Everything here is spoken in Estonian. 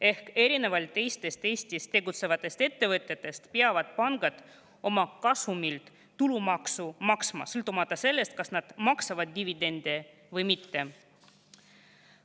Ehk erinevalt teistest Eestis tegutsevatest ettevõtetest peavad pangad oma kasumilt tulumaksu maksma, sõltumata sellest, kas nad maksavad dividende või mitte.